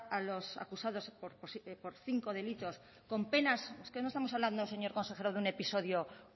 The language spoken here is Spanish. a los acusados por cinco delitos con penas es que no estamos hablando señor consejero de un episodio